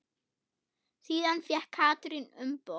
Síðan fékk Katrín umboð.